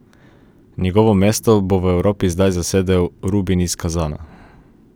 Njegovo mesto bo v Evropi zdaj zasedel Rubin iz Kazana.